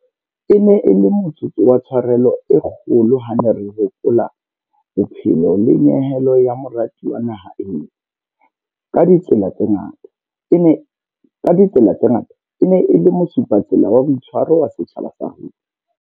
E ne e le motsotso wa tsharelo e kgolo ha re ne re hopola bophelo le nyehelo ya morati wa naha eo, ka ditsela tse ngata, e neng e le mosupatsela wa boitshwaro wa setjhaba sa rona.